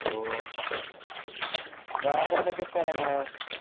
ഓ വേറെതെക്കെ സ്ഥലങ്ങള്